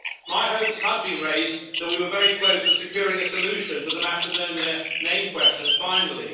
My hopes had been raised that we were very close to securing a solution to the Macedonia name question finally.